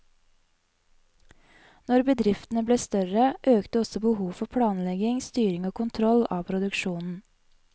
Når bedriftene ble større, økte også behovet for planlegging, styring og kontroll av produksjonen.